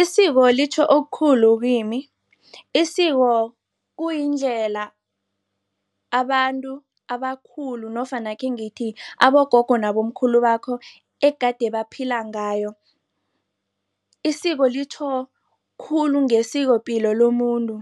Isiko litjho okukhulu kimi. Isiko kuyindlela abantu abakhulu nofana akhe ngithi, abogogo nabomkhulu bakho egade baphila ngayo. Isiko litjho khulu ngesikopilo lomuntu,